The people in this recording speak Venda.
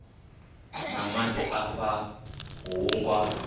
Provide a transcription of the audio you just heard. na maḓi afha hu nga